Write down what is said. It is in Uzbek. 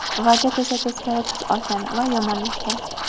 Vaziyat esa teskari tus olgan va yomonlashgan.